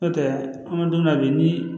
N'o tɛ an bɛ don min na bi ni